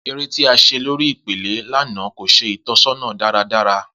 Ere ti a ṣe lori ipele lana ko ṣe itọsọna daradara.